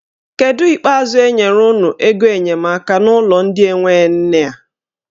Kedụ ikpeazụ enyere unu ego enyemaka n'ụlọ ndị enwe nne a?